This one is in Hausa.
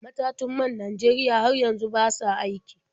Matun man Najeriya har yanzu ba sa aiki.